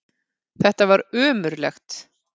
Þetta var ömurlegt.